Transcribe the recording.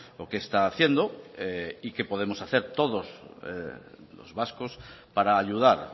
o qué está haciendo y qué podemos hacer todos los vascos para ayudar